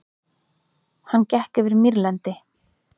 Hann gekk yfir mýrlendi.